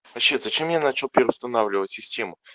вообще зачем я начал переустанавливать систему